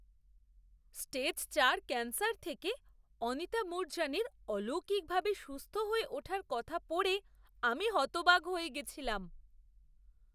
Stage চার, cancer থেকে অনিতা মুরজানির অলৌকিকভাবে সুস্থ হয়ে ওঠার কথা পড়ে আমি হতবাক হয়ে গেছিলাম।